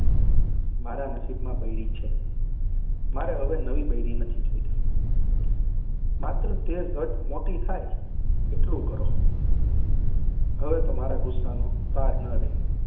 મારા નસીબમાં બૈરી છે. મારે હવે નવી નથી જોઈતી. તે ઝટ મોટી થાય એટલું કરો. હવે મારા ગુસ્સાનો પાર ન રહ્યો.